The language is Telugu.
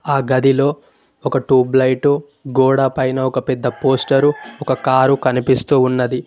ఆ గదిలో ఒక ట్యూబ్ లైటు గొడపైన ఒక పెద్ద పోస్టరు ఒక కారు కనిపిస్తూ ఉన్నది.